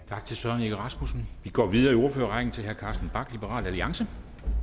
tak til søren egge rasmussen vi går videre i ordførerrækken til herre carsten bach liberal alliance